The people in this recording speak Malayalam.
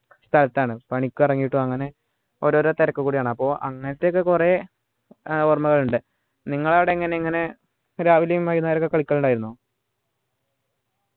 സ്ഥലത്താണ് പണിക്കു ഇറങ്ങീട്ടും അങ്ങനെ ഓരോരോ തിരക്ക് കൂടിയാണ് അപ്പൊ അങ്ങനെത്തെ ഒക്കെ കുറെ ഏർ ഓർമകളുണ്ട് നിങ്ങളെ ആട എങ്ങനെ ഇങ്ങനെ രാവിലെം വൈന്നേരവും ഒക്കെ കളിക്കലുണ്ടായിരുന്നോ